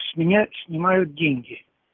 с меня снимают деньги